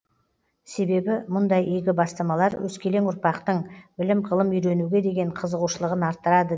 себебі мұндай игі бастамалар өскелең ұрпақтың білім ғылым үйренуге деген қызығушылығын арттырады